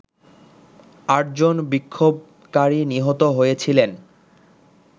আটজন বিক্ষোভকারী নিহত হয়েছিলেন